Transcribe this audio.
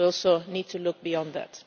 We also need to look beyond